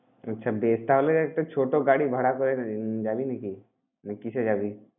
আচ্ছা বেশ! তাহলে একটা ছোট গাড়ি ভাড়া করে উম যাবি নাকি? না কিসে যাবি?